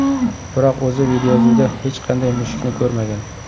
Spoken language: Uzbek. Biroq o‘zi videoyozuvda hech qanday mushukni ko‘rmagan.